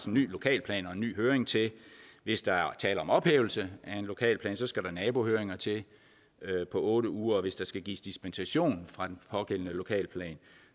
en ny lokalplan og en ny høring til hvis der er tale om ophævelse af en lokalplan skal der nabohøringer til på otte uger og hvis der skal gives dispensation fra den pågældende lokalplan